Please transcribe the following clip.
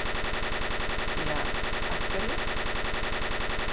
Ja, af hverju?